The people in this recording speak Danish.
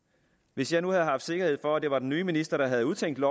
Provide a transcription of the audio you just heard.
hvis jeg nu havde haft sikkerhed for at det var den nye minister der havde udtænkt